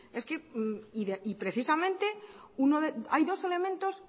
y precisamente hay dos elementos